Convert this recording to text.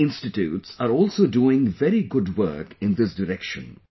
Many institutes are also doing very good work in this direction